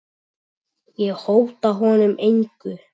Ég hóta honum engu.